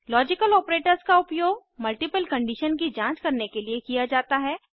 logical operators का उपयोग multiple condition की जांच करने के लिए किया जाता है